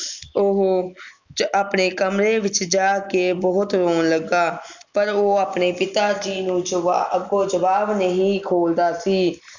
ਓਹੋ ਆਪਣੇ ਕਮਰੇ ਵਿਚ ਜਾ ਕੇ ਬਹੁਤ ਰੋਣ ਲੱਗਾ ਪਰ ਉਹ ਆਪਣੇ ਪਿਤਾਜੀ ਨੂੰ ਜਵਾਬ ਅੱਗੋਂ ਜਵਾਬ ਨਹੀਂ ਖੋਲਦਾ ਸੀ